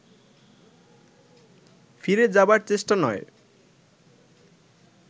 ফিরে যাবার চেষ্টা নয়